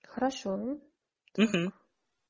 хорошо